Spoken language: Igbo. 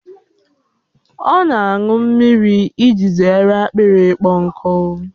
Ọ na aṅụ mmiri iji zere akpịrị ịkpọ nkụ